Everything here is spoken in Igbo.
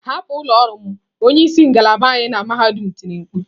Hapụ ụlọ ọrụ m, onye isi ngalaba anyị na mahadum tiri mkpu.